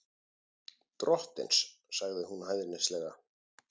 Drottins, sagði hún hæðnislega.